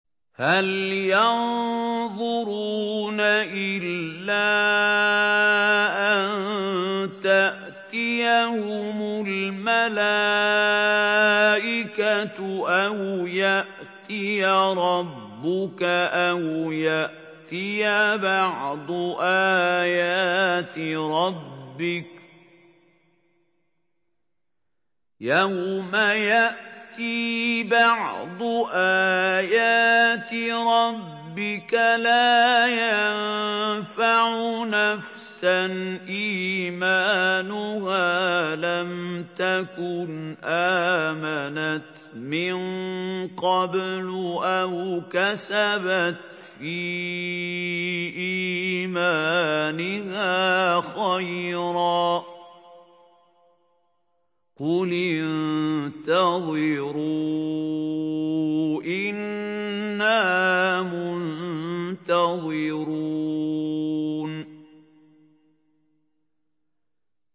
هَلْ يَنظُرُونَ إِلَّا أَن تَأْتِيَهُمُ الْمَلَائِكَةُ أَوْ يَأْتِيَ رَبُّكَ أَوْ يَأْتِيَ بَعْضُ آيَاتِ رَبِّكَ ۗ يَوْمَ يَأْتِي بَعْضُ آيَاتِ رَبِّكَ لَا يَنفَعُ نَفْسًا إِيمَانُهَا لَمْ تَكُنْ آمَنَتْ مِن قَبْلُ أَوْ كَسَبَتْ فِي إِيمَانِهَا خَيْرًا ۗ قُلِ انتَظِرُوا إِنَّا مُنتَظِرُونَ